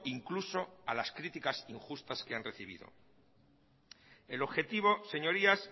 incluso a las críticas injustas que han recibido el objetivo señorías